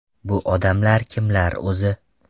Bu odamlar kimlar o‘zi?